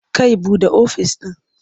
Kai buɗe ofis ɗin.